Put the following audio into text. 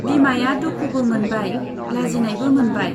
बिमाया दुखुबो मोनबाय, लाजिनायबो मोनबाय।